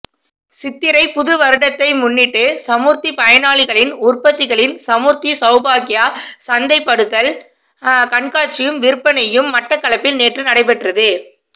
சித்திரை புதுவருடத்தை முன்னிட்டு சமுர்த்தி பயனாளிகளின் உற்பத்திகளின் சமுர்த்தி சௌபாக்கியா சந்தைப்படுத்தல் கண்காட்சியும் விற்பனையும் மட்டக்களப்பில் நேற்று நடைபெற்றது